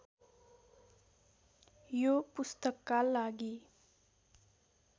यो पुस्तकका लागि